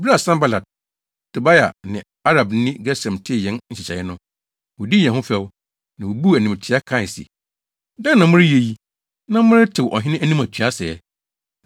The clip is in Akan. Bere a Sanbalat, Tobia ne Arabni Gesem tee yɛn nhyehyɛe no, wodii yɛn ho fɛw, na wobuu animtiaa kae se, “Dɛn na moreyɛ yi, na moretew ɔhene anim atua sɛɛ?”